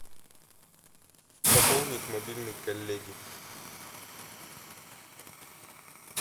пополнить мобильный коллеги